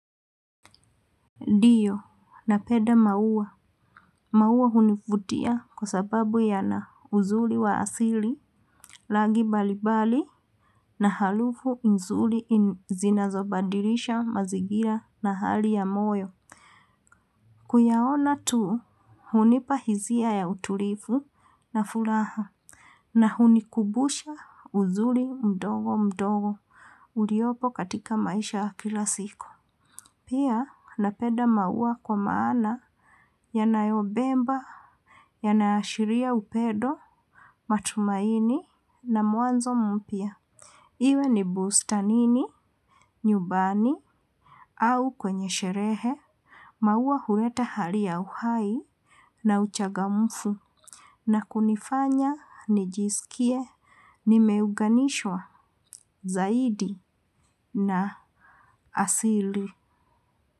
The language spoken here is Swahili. Ndiyo, napenda maua. Maua hunivutia kwa sababu yana uzuri wa asili. Rangi mbalimbali na harufu nzuri zinazobadilisha mazingira na hali ya moyo. Kuyaona tu, hunipahisia ya utulivu na furaha. Na hunikumbusha uzuri mdogo mdogo uliopo katika maisha kila siku. Pia napenda maua kwa maana yanayobeba, yanaashiria upendo, matumaini na mwanzo mpya. Iwe ni bustanini, nyumbani au kwenye sherehe. Maua huwela hali ya uhai na uchangamfu. Na kunifanya, nijisikie, nimeunganishwa, zaidi na asili.